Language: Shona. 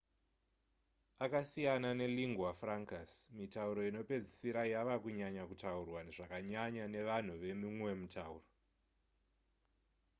akasiyana nelingua francas mitauro inopedzisira yava kunyanya kutaurwa zvakanyanya nevanhu vemumwe mutauro